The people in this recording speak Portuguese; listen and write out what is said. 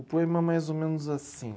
O poema é mais ou menos assim.